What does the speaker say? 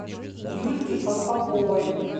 юльке колпаковой